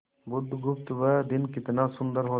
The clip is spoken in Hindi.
बुधगुप्त वह दिन कितना सुंदर होता